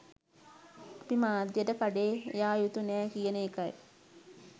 අපි මාධ්‍යයට කඩේ යා යුතු නෑ කියන එකයි.